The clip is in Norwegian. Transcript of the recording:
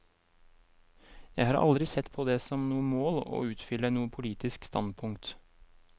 Jeg har aldri sett på det som noe mål å utfylle noe politisk standpunkt.